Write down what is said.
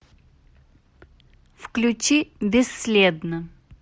включи бесследно